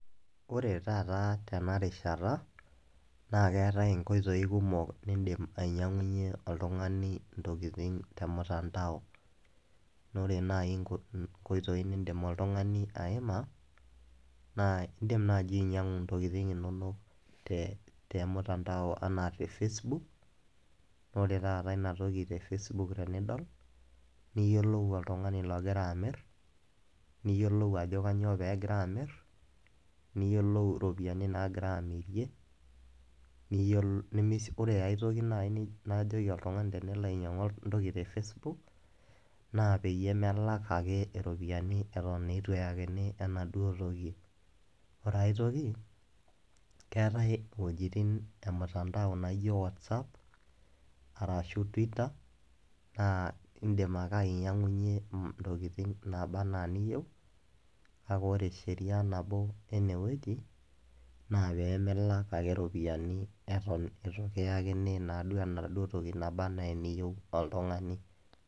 Ore taata tena rishata, naa keatai inkoitoi kumok niindim ainyang'unye oltung'ani intokitin te olmutandao, naa ore naaji inkoitoi niindim oltung'ani aima, naa indim naaji oltung'ani ainyang'u intokitin inono te emutandao anaa e Facebook, naa ore taata Ina toki te Facebook tenidol niyiolou oltung'ani ogira amir, niyiolou ajo tenyoo pee egira amir, niyiolou iropiani naagirai amirie, ore ai toki naaji nalo ajoki oltung'ani tenelo ainyang'u toki te Facebook, naa peyie melak ake iropiani eton eitu eyakini enaduo tok. Ore ai toki, keatai wuejitin emutandao naijo WhatsApp, arashu Twitter naa indim ake ainyang'uyie intokitin nabaa ana eniyou, kake ore esheria nabo ene wueji, naa pee milak ake iropiani eton ekiyakini Ina anaa enaduo toki nabaa ana niyou oltung'ani.